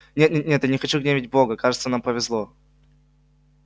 нет нет нет я не хочу гневить бога кажется нам повезло